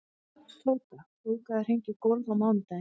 Tóta, bókaðu hring í golf á mánudaginn.